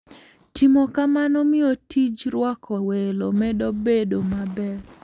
Timo kamano miyo tij rwako welo medo bedo maber.